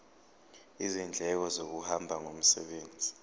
izindleko zokuhamba ngomsebenzi